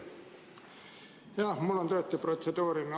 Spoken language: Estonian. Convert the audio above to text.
Jah, mul on tõesti protseduuriline.